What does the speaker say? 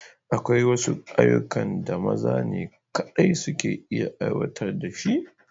Akwai ayyukan da maza ne kaɗai suka iya aiwatar da shi